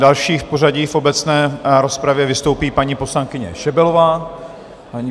Další v pořadí v obecné rozpravě vystoupí paní poslankyně Šebelová.